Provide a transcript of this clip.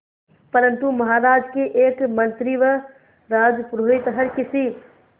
परंतु महाराज के एक मंत्री व राजपुरोहित हर किसी